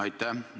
Aitäh!